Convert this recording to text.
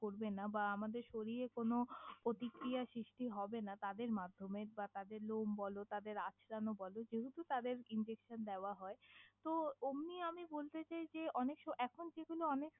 করবে না বা আমাদের শরীরে কোনও পতিক্রিয়া সৃষ্টি হবে না তাদের মাধ্যমে বা তাদের লম বলো তাদের আঁচড়ানো বলো যেহেতু তাদের injection দেওয়া হয় তহ অম্নি আমি বলতে চাই যে অনেক্স এখন যেগুলো অনেক।